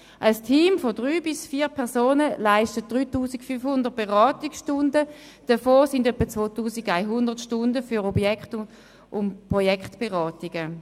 Ein Team von drei bis vier Personen leistet 3500 Beratungsstunden, davon etwa 2100 Stunden für Objekt- und Projektberatungen.